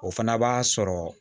O fana b'a sɔrɔ